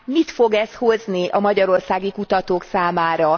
Mit fog ez hozni a magyarországi kutatók számára?